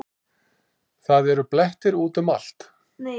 Það eru blettir út um allt.